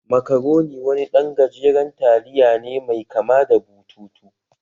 Macaroni wani ɗan gajeren taliya ne mai kama da bututu